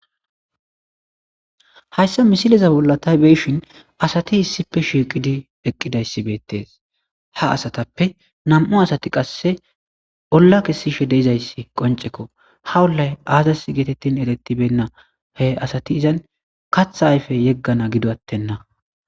hayssa misileza bollatay beeshin asati issippe shiiqidi eqqidayssi beettees ha asatappe nam7u asati qasse olla kessishe deizayssi qoncekko ha ollay aazas geetettin erettibenna he asati izan katha ayfe yeggana gidoattenna